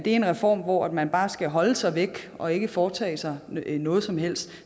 en reform hvor man bare skal holde sig væk og ikke foretage sig noget som helst